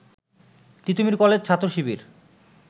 Titumir college ছাত্র শিবির